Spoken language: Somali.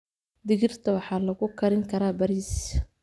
Digirta waxaa lagu karin karaa bariis.